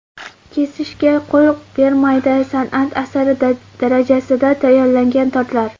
Kesishga qo‘l bormaydi: san’at asari darajasida tayyorlangan tortlar .